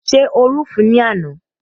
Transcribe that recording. Ṣé o rú òfin ní àná?